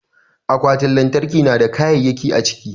Akwatin lantarki na da kayayyaki a ciki.